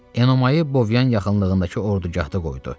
Enomayı Bovyan yaxınlığındakı ordugahda qoydu.